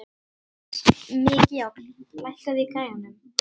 Mikjáll, lækkaðu í græjunum.